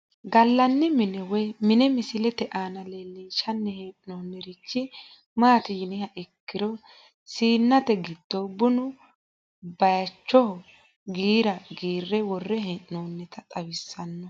Galani mine woyi mine misilete aana leelinshani heenonirichi maati yiniha ikiro siinete giddo bunu bacichoho giira giire wore heenonita xawisano.